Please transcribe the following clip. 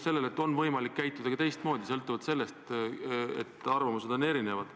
See tõestab, et on võimalik käituda ka teistmoodi, kuigi arvamused on erinevad.